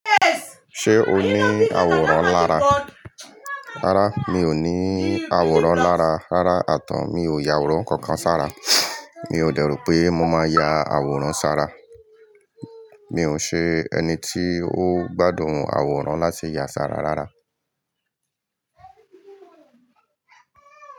Ṣé o ní àwòrán lára? Rárá mi ò ní àwòrán lára rárá àtàń mi ò ya àwòrán kankan ṣàrà. Mi ò dẹ̀ ro pé mo máa ya àwòrán sàrà. Mi ò ṣe ẹni tí ó gbádùn àwòrán láti ya ṣàrà rárá.